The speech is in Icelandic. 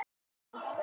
Áttirðu von á því?